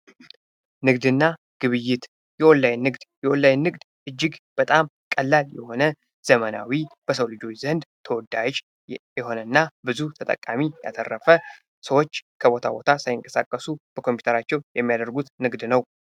ንግድና ግብይት የኦንላይን ንግድ የኦንላይን ንግድ እጅግ በጣም ቀላል የሆነ ዘመናዊ በሰው ልጆች ዘንድ ተወዳጅ የሆነ እና ብዙ ተጠቃሚ ያተረፈ ሰዎች ከቦታ ቦታ ሳይንቀሳቀሱ በኮምፒውተራቸው የሚያደርጉት ንግድ ነው።